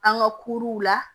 An ka kuruw la